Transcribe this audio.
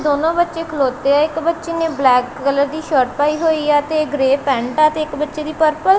ਦੋਨੋਂ ਬੱਚੇ ਖਲੋਤੇ ਆ ਇੱਕ ਬੱਚੇ ਨੇ ਬਲੈਕ ਕਲਰ ਦੀ ਸ਼ਰਟ ਪਾਈ ਹੋਈ ਆ ਤੇ ਗ੍ਰੇਯ ਪੈਂਟ ਆ ਤੇ ਇੱਕ ਬੱਚੇ ਦੀ ਪਰਪਲ ।